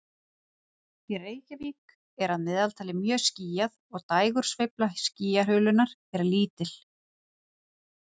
Í Reykjavík er að meðaltali mjög skýjað og dægursveifla skýjahulunnar er lítil.